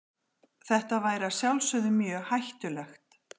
Þetta væri að sjálfsögðu mjög hættulegt.